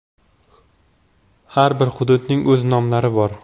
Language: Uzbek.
Har bir hududning o‘z nomlari bor.